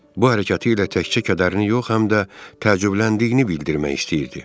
Bu hərəkəti ilə təkcə kədərini yox, həm də təəccübləndiyini bildirmək istəyirdi.